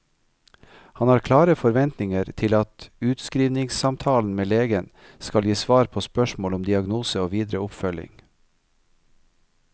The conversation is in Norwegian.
Han har klare forventninger til at utskrivningssamtalen med legen skal gi svar på spørsmål om diagnose og videre oppfølging.